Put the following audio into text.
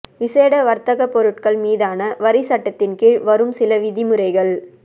விசேட வர்த்தக பொருட்கள் மீதான வரி சட்டத்தின் கீழ் வரும் சில விதிமுறைகள்